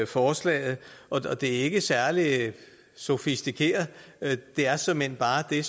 forslaget og det er ikke særlig sofistikeret det er såmænd bare det